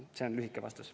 See on lühike vastus.